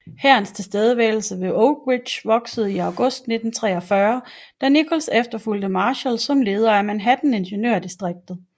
Hærens tilstedeværelse ved Oak Ridge voksede i august 1943 da Nichols efterfulgte Marshall som leder af Manhattan ingeniørdistriktet